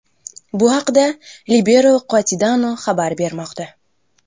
Bu haqda Libero Quotidiano xabar bermoqda .